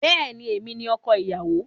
Bẹ́ẹ̀ni, èmi ni ọkọ ìyàwó.